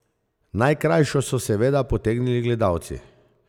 Najkrajšo so seveda potegnili gledalci.